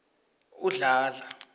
udladla